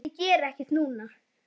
En ég geri ekkert núna.